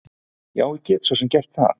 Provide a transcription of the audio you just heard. Já, ég get svo sem gert það.